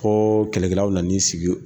Ko kɛlɛkɛlaw nana n'i sigi